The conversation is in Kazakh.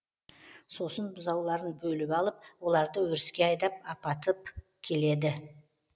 сосын бұзауларын бөліп алып оларды өріске айдап апатып келеді